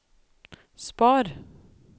spar